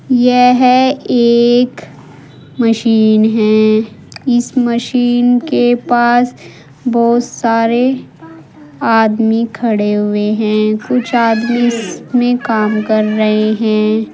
यह एक मशीन है। इस मशीन के पास बोहोत सारे आदमी खड़े हुए हैं। कुछ आदमी इसमें काम कर रहे हैं।